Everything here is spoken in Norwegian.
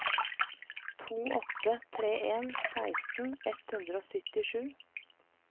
to åtte tre en seksten ett hundre og syttisju